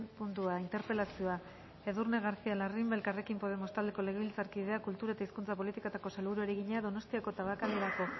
puntua interpelazioa edurne garcía larrimbe elkarrekin podemos taldeko legebiltzarkideak kultura eta hizkuntza politikako sailburuari egina donostiako tabakalerako